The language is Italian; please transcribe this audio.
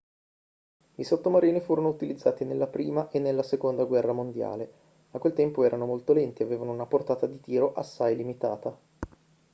i sottomarini furono utilizzati nella prima e nella seconda guerra mondiale a quel tempo erano molto lenti e avevano una portata di tiro assai limitata